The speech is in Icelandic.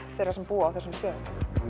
þeirra sem búa á þessum stöðum